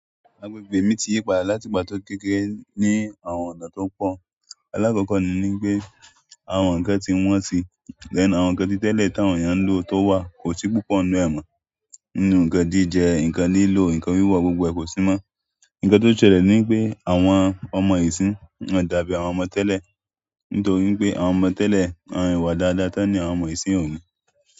Agbègbè mi ti yí padà láti ìgbà kekére ní àwọn ọ̀nà tó pọ̀. Alákọ̀ọ́kọ́ ni pé àwọn nǹkan ti wọ́n si, then àwọn nǹkan títẹ̀lé tí àwọn èèyàn ń lo tó wà kò sì púpọ̀ inú e mo. Inú nǹkan jíjẹ, nǹkan lilo, nǹkan wíwọ gbogbo e ko síi mọ nǹkan tó ṣẹlẹ̀ ni wípé àwọn ọmọ isinyii won o dàbí àwọn ọmọ tẹlẹ, nítorí wípé àwọn ọmọ tẹlẹ ìwà dáadáa tí wọn ni àwọn ọmọ isinyii o níí.